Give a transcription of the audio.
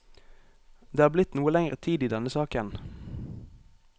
Det har blitt noe lenger tid i denne saken.